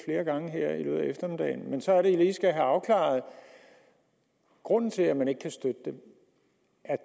gange her i løbet af eftermiddagen men så er det vi lige skal have afklaret grunden til at man ikke kan støtte